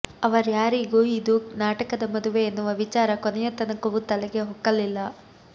ಅವರ್ಯಾರಿಗೂ ಇದು ನಾಟಕದ ಮದುವೆ ಎನ್ನುವ ವಿಚಾರ ಕೊನೆಯ ತನಕವೂ ತಲೆಗೆ ಹೊಕ್ಕಲಿಲ್ಲ